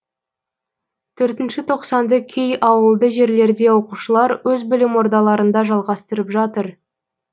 төртінші тоқсанды кей ауылды жерлерде оқушылар өз білім ордаларында жалғастырып жатыр